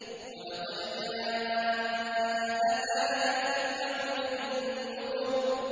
وَلَقَدْ جَاءَ آلَ فِرْعَوْنَ النُّذُرُ